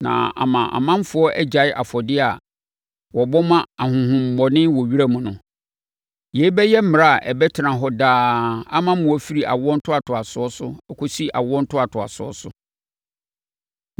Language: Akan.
Na ama ɔmanfoɔ agyae afɔdeɛ a wɔbɔ ma ahonhommɔne wɔ wiram no. Yei bɛyɛ mmara a ɛbɛtena hɔ daa ama mo firi awoɔ ntoatoasoɔ so akɔsi awoɔ ntoatoasoɔ so.